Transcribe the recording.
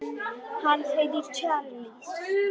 Hann heitir Charles